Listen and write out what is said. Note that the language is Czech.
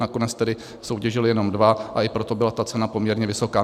Nakonec tedy soutěžily jenom dva, a i proto byla ta cena poměrně vysoká.